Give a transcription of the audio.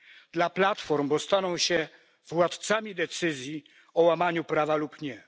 Dla platform, bo staną się władcami decyzji o łamaniu prawa lub nie.